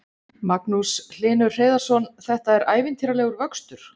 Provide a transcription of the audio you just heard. Magnús Hlynur Hreiðarsson: Þetta er ævintýralegur vöxtur?